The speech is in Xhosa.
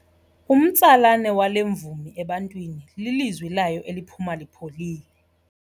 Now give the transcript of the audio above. Umtsalane wale mvumi ebantwini lilizwi layo eliphuma lipholile.